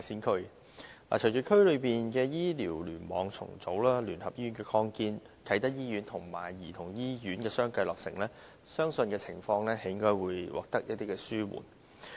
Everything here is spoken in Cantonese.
隨着區內醫療聯網重組、聯合醫院的擴建，以及啟德醫院和兒童醫院相繼落成，相信情況將得以紓緩。